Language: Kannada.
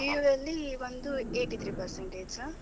PUiniitial ಅಲ್ಲಿ ಬಂದು eighty three percentage.